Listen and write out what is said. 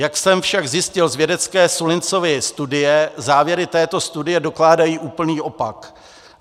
Jak jsem však zjistil z vědecké Sullinsovy studie, závěry této studie dokládají úplný opak.